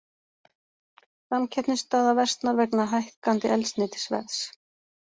Samkeppnisstaða versnar vegna hækkandi eldsneytisverðs